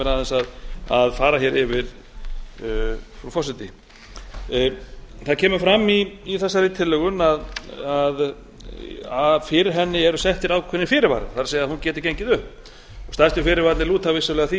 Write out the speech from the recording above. leyfa mér að fara yfir frú forseti það kemur fram í þessari tillögu að fyrir henni eru settir ákveðnir fyrirvarar það er hún geti gengið upp stærstu fyrirvararnir lúta vissulega að því